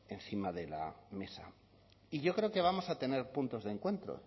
encima de la mesa y yo creo que vamos a tener puntos de encuentro